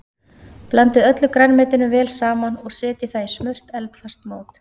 Blandið öllu grænmetinu vel saman og setjið það í smurt eldfast mót.